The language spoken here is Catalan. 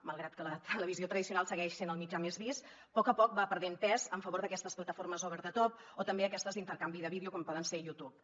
malgrat que la televisió tradicional segueix sent el mitjà més vist a poc a poc va perdent pes en favor d’aquestes plataformes over the top o també aquestes d’intercanvi de vídeos com pot ser youtube